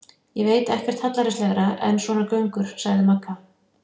Ég veit ekkert hallærislegra en svona göngur, sagði Magga.